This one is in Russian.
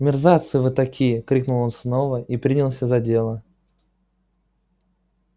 мерзавцы вы такие крикнул он снова и принялся за дело